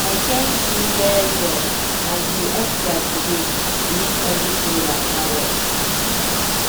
i thank you well well as you extra today to make everything waka well.